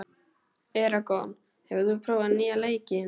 Eragon, hefur þú prófað nýja leikinn?